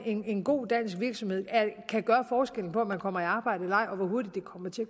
en god dansk virksomhed kan gøre forskellen på om man kommer i arbejde eller ej og hvor hurtigt